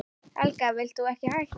Helga: Vilt þú ekki hætta?